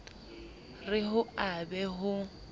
re ho a be ho